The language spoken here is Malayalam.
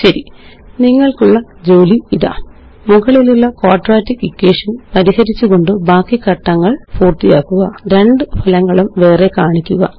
ശരി നിങ്ങള്ക്കുള്ള ജോലി ഇതാ മുകളിലുള്ളquadratic equationപരിഹരിച്ചുകൊണ്ട് ബാക്കി ഘട്ടങ്ങള് പൂര്ത്തിയാക്കുക രണ്ട് ഫലങ്ങളും വേറെ കാണിക്കുക